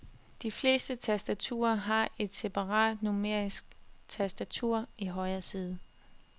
De fleste tastaturer har et separat numerisk tastatur i højre side.